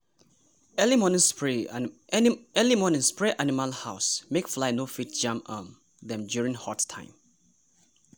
early morning spray animal house make fly no fit jam um dem during hot time.